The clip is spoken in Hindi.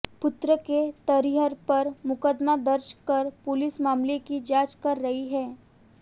पुत्र के तहरीर पर मुकदमा दर्ज कर पुलिस मामले की जांच कर रही है